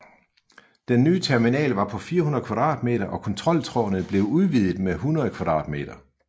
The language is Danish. Den nye terminal var på 400 m² og kontroltårnet blev udvidet med 100 m²